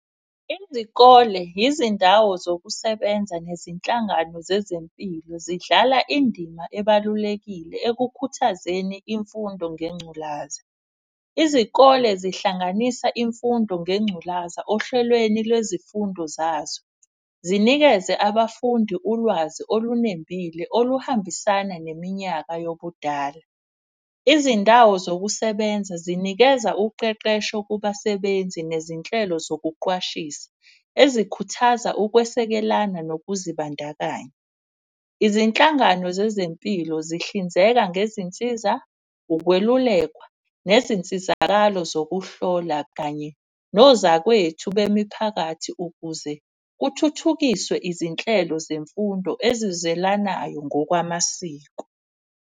Izikole, izindawo zokusebenza, nezinhlangano zezempilo zidlala indima ebalulekile ekukhuthazeni imfundo ngengculaza. Izikole zihlanganisa imfundo ngengculaza ohlelweni lwezifundo zazo, zinikeze abafundi ulwazi olunembile oluhambisana neminyaka yobudala. Izindawo zokusebenza zinikeza uqeqesho kubasebenzi nezinhlelo zokuqwashisa, ezikhuthaza ukwesekelana nokuzibandakanya. Izinhlangano zezempilo zihlinzeka ngezinsiza, ukwelulekwa, nezinsizakalo zokuhlola. Kanye nozakwethu bemiphakathi ukuze kuthuthukiswe izinhlelo zemfundo ezizelanayo ngokwamasiko.